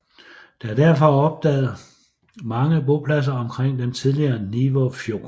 Der er derfor opdaget mange bopladser omkring den tidligere Nivå Fjord